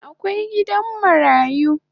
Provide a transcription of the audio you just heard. Akwai gidan marayu